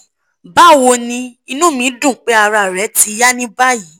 bawoni inu mi dun pe ara re ti ya ni bayi